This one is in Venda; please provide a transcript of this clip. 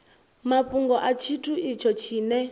mafhungo a tshithu itsho tshine